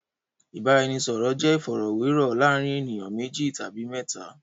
Ìbáraẹnisọ̀rọ̀ jẹ́ ìfọ̀rọ̀wérọ̀ láàárín ènìyàn méjì tàbí mẹ́ta.